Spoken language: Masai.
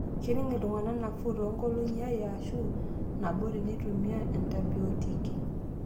Kening' iltungana nafuu toonkolong'I are aashu nabo teneitumia antibiotiki.